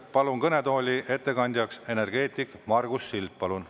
Palun kõnetooli ettekandjaks energeetiku Margus Sild, palun.